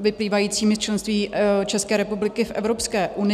vyplývajícími z členství České republiky v Evropské unii.